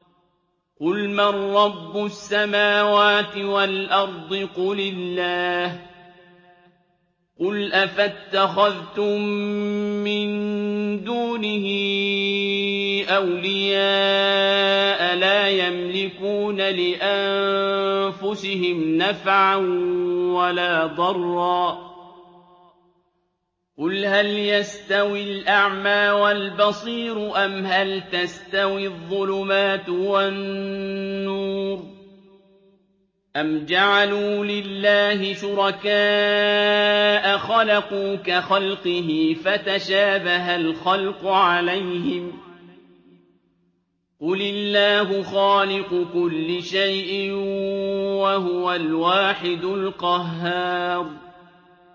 قُلْ مَن رَّبُّ السَّمَاوَاتِ وَالْأَرْضِ قُلِ اللَّهُ ۚ قُلْ أَفَاتَّخَذْتُم مِّن دُونِهِ أَوْلِيَاءَ لَا يَمْلِكُونَ لِأَنفُسِهِمْ نَفْعًا وَلَا ضَرًّا ۚ قُلْ هَلْ يَسْتَوِي الْأَعْمَىٰ وَالْبَصِيرُ أَمْ هَلْ تَسْتَوِي الظُّلُمَاتُ وَالنُّورُ ۗ أَمْ جَعَلُوا لِلَّهِ شُرَكَاءَ خَلَقُوا كَخَلْقِهِ فَتَشَابَهَ الْخَلْقُ عَلَيْهِمْ ۚ قُلِ اللَّهُ خَالِقُ كُلِّ شَيْءٍ وَهُوَ الْوَاحِدُ الْقَهَّارُ